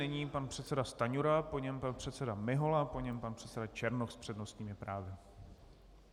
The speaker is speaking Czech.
Nyní pan předseda Stanjura, po něm pan předseda Mihola, po něm pan předseda Černoch s přednostními právy.